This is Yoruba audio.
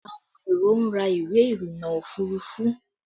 Àwọn èrò ń ra ìwé irinna òfurufú